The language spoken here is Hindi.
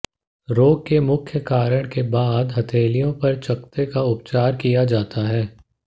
रोग के मुख्य कारण के बाद हथेलियों पर चकत्ते का उपचार किया जाता है